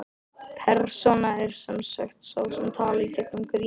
Persóna er sem sagt sá sem talar í gegnum grímu.